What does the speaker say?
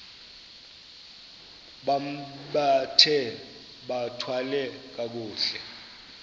bambathe bathwale kakuhle